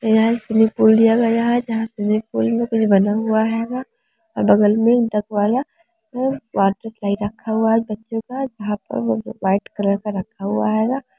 यहां एक swimming pool दिया हुआ है जहाँ कुछ बना हुआ हैगा अ बगल में डक वाला व वॉटर स्लाइड रखा हुआ है बच्चो का जहां पर व्हाइट कलर का रखा हुआ हैगा।